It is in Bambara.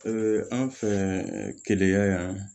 anw fɛ keleya yan